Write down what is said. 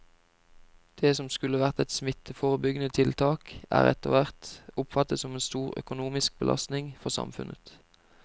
Det som skulle være et smitteforebyggende tiltak er etterhvert oppfattet som en stor økonomisk belastning for samfunnet.